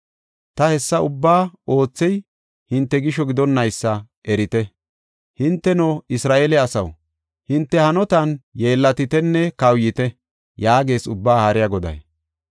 Ta hessa ubbaa oothey hinte gisho gidonnaysa erite. Hinteno, Isra7eele asaw, hinte hanotan yeellatitenne kawuyite” yaagees Ubbaa Haariya Goday.